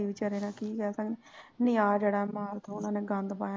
ਬਚਾਰੇ ਨਾਲ ਕੀ ਕਹਿ ਸਕਦੇ ਹਾਂ ਨੀਂ ਆਹ ਜਿਹੜਾ ਮਾਰ ਤੋਂ ਨੇ ਗੰਦ ਪਾਇਆ ਨਾ